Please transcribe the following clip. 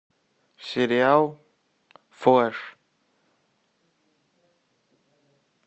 сериал флэш